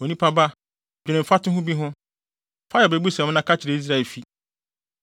“Onipa ba, dwene mfatoho bi ho, fa yɛ abebusɛm na ka kyerɛ Israelfi.